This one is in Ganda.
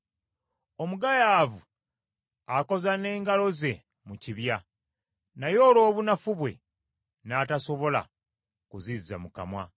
Omugayaavu akoza n’engalo ze mu kibya, naye olw’obunafu bwe n’atasobola kuzizza mu kamwa.